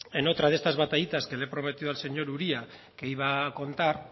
en otra de estas batallitas que le he prometido al señor uria que iba a contar